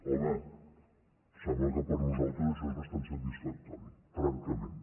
home em sembla que per nosaltres això és bastant satisfactori francament